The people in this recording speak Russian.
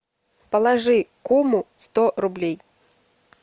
положи куму сто рублей